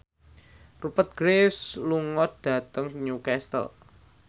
Rupert Graves lunga dhateng Newcastle